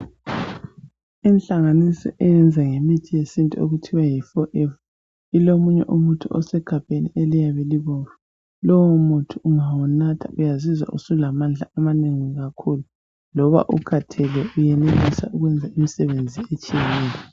Inhlanganiso eyenza ngemithi yesintu okuthiwa yi Forever ilomunye umuthi osegabheni eliyabe libomvu. Lowo muthi ungawunatha uyazizwa usulamandla amanengi kakhulu. Loba ukhathele uyenelisa ukwenza imisebenzi etshiyeneyo...